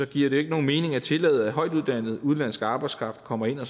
giver det ikke nogen mening at tillade at højtuddannet udenlandsk arbejdskraft kommer ind og